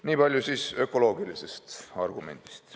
Nii palju ökoloogilistest argumentidest.